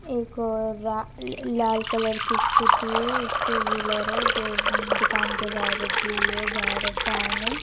एक और रा-ल-ल लाल कलर की स्कूटी टू व्हीलर है जो दुकान के बाहर रखी हुई है बाहर फैन है।